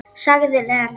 Sagði Lena.